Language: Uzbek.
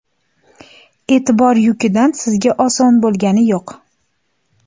E’tibor yukidan sizga oson bo‘lgani yo‘q!